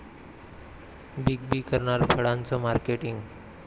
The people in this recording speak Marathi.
बीग बी करणार फळांचं मार्केटिंग